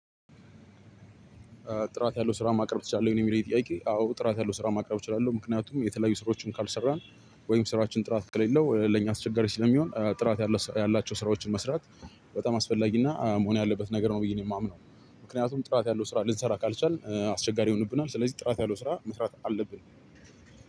ጥራት ያለው ስራ ማቅረብ ትችላለህ ወይ ነው የሚለው የኔ ጥያቄ? አዎ ጥራት ያለው ስራ ማቅረብ እችላለሁ። ምክንያቱም የተለያዩ ስራዎችን ካልሰራን ወይም ስራችን ጥራት ከሌለው ለኛ አስቸጋሪ ስለሚሆን ጥራት ያላቸው ስራዎችን መስራት በጣም አስፈላጊና መሆን ያለበት ነገር ነው ብየ ነው የማምነው። ምክንያቱም ጥራት ያለው ስራ ልንሰራ ካልቻልን አስቸጋሪ ይሆንብናል ስለዚህ ጥራት ያለው ስራ መስራት አለብን።